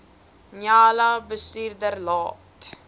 njala bestuurder laat